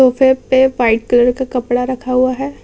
सोफे पे white colour का कपड़ा रखा हुआ है।